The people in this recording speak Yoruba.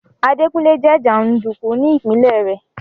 Adékúnlé jẹ́ jàndùkù ní ìpinlẹ̀ rẹ̀